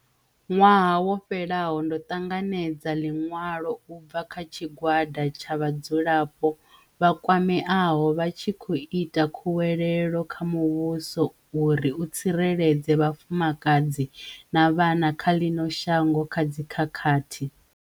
Ṅwaha wo fhelaho, ndo ṱanganedza ḽiṅwalo u bva kha tshigwada tsha vhadzulapo vha kwameaho vha tshi khou ita khuwelelo kha muvhuso uri u tsireledze vhafumakadzi na vhana vha ḽino shango kha dzikhakhathi.